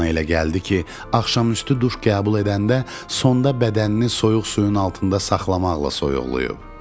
Ona elə gəldi ki, axşamüstü duş qəbul edəndə sonda bədənini soyuq suyun altında saxlamaqla soyuqlayıb.